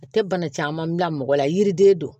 A tɛ bana caman bila mɔgɔ la yiriden do